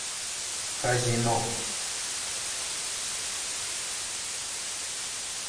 казино